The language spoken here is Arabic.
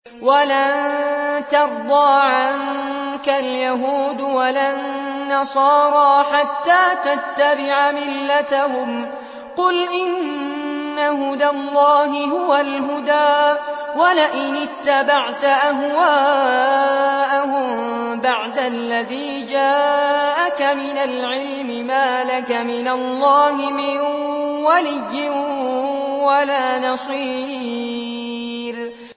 وَلَن تَرْضَىٰ عَنكَ الْيَهُودُ وَلَا النَّصَارَىٰ حَتَّىٰ تَتَّبِعَ مِلَّتَهُمْ ۗ قُلْ إِنَّ هُدَى اللَّهِ هُوَ الْهُدَىٰ ۗ وَلَئِنِ اتَّبَعْتَ أَهْوَاءَهُم بَعْدَ الَّذِي جَاءَكَ مِنَ الْعِلْمِ ۙ مَا لَكَ مِنَ اللَّهِ مِن وَلِيٍّ وَلَا نَصِيرٍ